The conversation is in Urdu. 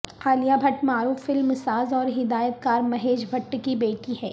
عالیہ بھٹ معروف فلم ساز اور ہدایت کار مہیش بھٹ کی بیٹی ہیں